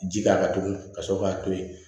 Ji k'a kan tugun ka sɔrɔ k'a to yen